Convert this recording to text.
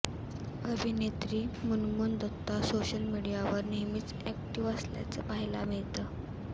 अभिनेत्री मुनमुन दत्ता सोशल मीडियावर नेहमीच अॅक्टिव्ह असल्याचं पाहायला मिळतं